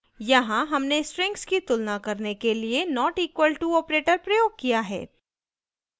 यहाँ हमने strings की तुलना करने के लिए notequal to operator प्रयोग किया है